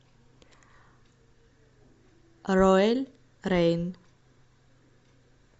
роэль рейн